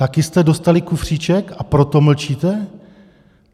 Taky jste dostali kufříček, a proto mlčíte?